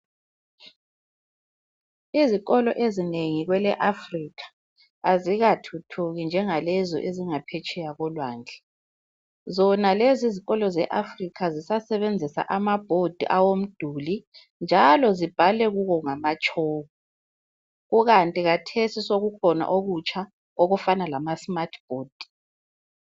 Izikolo ezinengi kwele Africa azikathuthuki njengalezo ezingaphetsheya kolwandle zona lezi izikolo zeAfrica zisasebenzisa imgwembe yomduli njalo zibhalwe kuwo ngama chalk kukanti kathesi sokukhona okutsha okufana lama smart board.